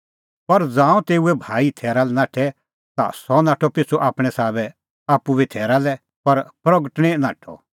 पर ज़ांऊं तेऊए भाई थैरा लै नाठै ता सह नाठअ पिछ़ू आपणैं साबै आप्पू बी थैरा लै पर प्रगटअ निं नाठअ